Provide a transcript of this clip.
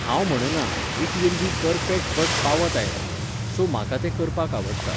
हांव म्हणना, it will be perfect but पावत आयलां, सो म्हाका तें करपाक आवडटा.